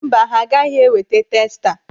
Mba, ha agaghị eweta testa.